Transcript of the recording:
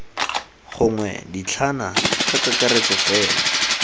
gongwe dintlhana ka kakaretso fela